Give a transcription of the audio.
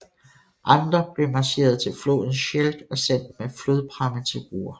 Andre blev marcheret til floden Scheldt og sendt med flodpramme til Ruhr